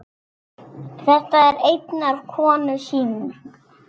Þetta er einnar konu sýning.